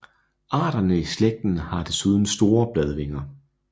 Arterne i slægten har desuden store bladvinger